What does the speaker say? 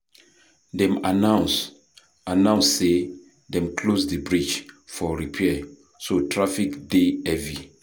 Dem announce announce sey dem close di bridge for repair, so traffic dey heavy.